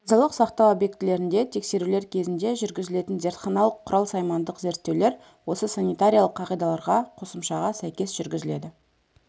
денсаулық сақтау объектілерінде тексерулер кезінде жүргізілетін зертханалық-құрал-саймандық зерттеулер осы санитариялық қағидаларға қосымшаға сәйкес жүргізіледі